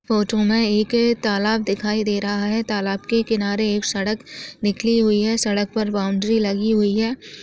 Photo में एक तालाब दिखाई दे रहा है तालाब के किनारे एक सड़क निकली हुई है सड़क पर बाउंड्री लगी हुई है ।